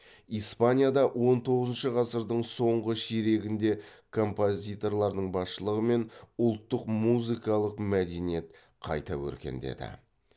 испанияда он тоғызыншы ғасырдың соңғы ширегінде композиторлардың басшылығымен ұлттық музыкалық мәдениет қайта өркендеді